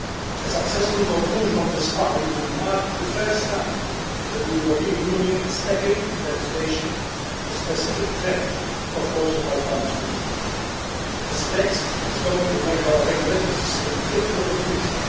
A successful conclusion of this file will mark the first time that the European Union has tackled, with legislation, the specific threat of falsified pharmaceuticals. This text is going to make our regulatory system fit for the future